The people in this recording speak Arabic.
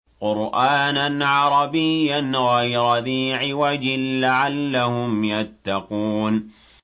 قُرْآنًا عَرَبِيًّا غَيْرَ ذِي عِوَجٍ لَّعَلَّهُمْ يَتَّقُونَ